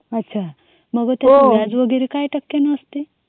अच्छा मग व्याज वगैरे काय टक्के असत.